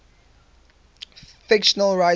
fictional writers